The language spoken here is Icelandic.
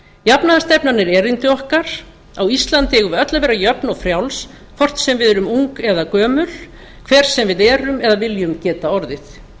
jafnaðarstefnan er erindi okkar á íslandi eigum við öll að vera jöfn og frjáls hvort sem við erum ung eða gömul hver sem við erum eða viljum geta orðið